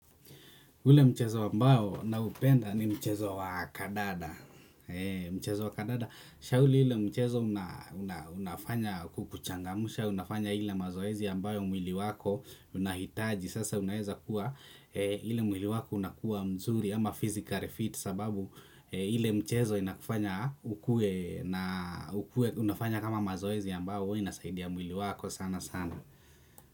Ule mchezo ambao naupenda ni mchezo wa kandanda. Mchezo wa kandanda. Ule mchezo unafanya kukuchangamsha unafanya ile mazoezi ambayo mwili wako unahitaji sasa unaeza kuwa ile mwili wako unakuwa mzuri ama physically fit sababu ile mchezo inakufanya ukuwe na ukuwe unafanya kama mazoezi ambayo huwa inasaidia mwili wako sana sana.